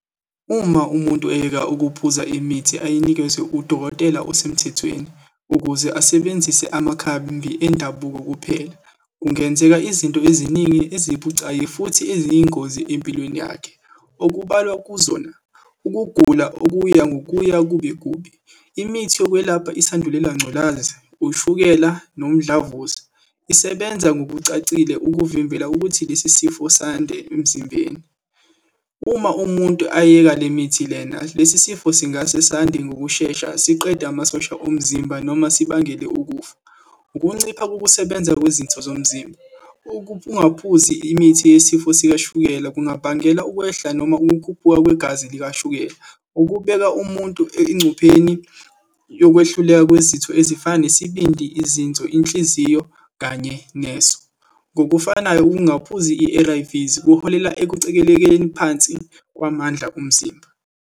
Uma umuntu eyeka ukuphuza imithi ayinikezwa udokotela osemthethweni, ukuze asebenzise amakhambi endabuko kuphela, kungenzeka izinto eziningi ezibucayi futhi eziyingozi empilweni yakhe. Okubalwa kuzona, ukugula okuya ngokuya kube kubi. Imithi yokwelapha isandulela ngculaza, ushukela nomdlavuza, isebenza ngokucacile ukuvimbela ukuthi lesi sifo sande emzimbeni. Uma umuntu ayeka le mithi lena, lesi sifo singasesande ngokushesha, siqede amasosha omzimba, noma sibangele ukufa. Ukuncipha kokusebenza kwezitho zomzimba, ukungaphuzi imithi yesifo sikashukela kungabangela ukwehla, noma ukukhuphuka kwegazi likashukela, ukubeka umuntu engcupheni yokwehluleka kwezitho ezifana nesibindi, izinso, inhliziyo kanye neso. Ngokufanayo ukungaphuzi i-A_R_Vs, kuholela ekucikelekeni phansi kwamandla omzimba.